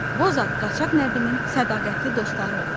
Bozat Qaçaq Nəbinin sədaqətli dostları olub.